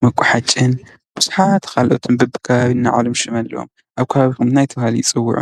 ፣መቋሕጭን ብዙሓት በቢከባቢኡ ናይ በዕሎም ሽም ኣለዎም ። ኣብ ከባቢኹም እንታይ ተባሂሎም ይፅውዑ?